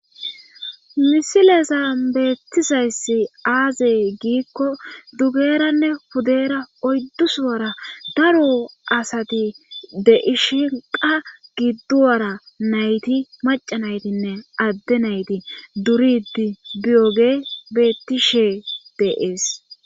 Misileza beettizayssi aazey giikko dugeranne hudeera oyddus wara daro asati de ishinqa giddu wara nayti maca naytinne adde nayti duridi diyoge beettishee deees.